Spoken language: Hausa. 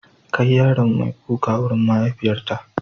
Kai yaron mai kuka wurin mahaifiyarta.